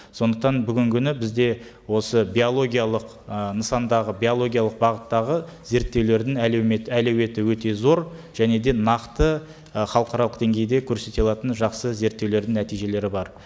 сондықтан бүгінгі күні бізде осы биологиялық ы нысандағы биологиялық бағыттағы зерттеулердің әлеумет әлеуеті өте зор және де нақты ы халықаралық деңгейде көрсете алатын жақсы зерттеулердің нәтижелері бар